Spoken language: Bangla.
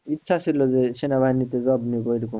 ইচ্ছা ছিল যে সেনাবাহিনীতে job নিবো এরকম,